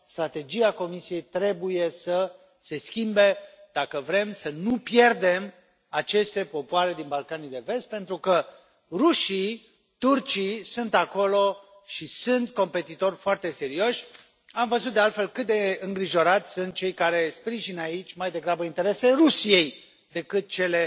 Strategia Comisiei trebuie să se schimbe, dacă vrem să nu pierdem aceste popoare din Balcanii de Vest, pentru că rușii, turcii sunt acolo și sunt competitori foarte serioși. Am văzut, de altfel, cât de îngrijorați sunt cei care sprijină aici mai degrabă interesele Rusiei decât cele